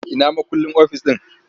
Ina mukullin ofis ɗin?